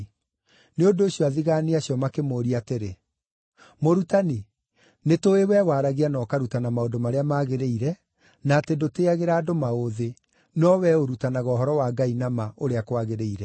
Nĩ ũndũ ũcio athigaani acio makĩmũũria atĩrĩ, “Mũrutani, nĩtũũĩ wee waragia na ũkarutana maũndũ marĩa magĩrĩire, na atĩ ndũtĩagĩra andũ maũthĩ, no wee ũrutanaga ũhoro wa Ngai na ma, ũrĩa kwagĩrĩire.